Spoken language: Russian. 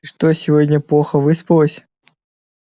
что сегодня плохо выспалась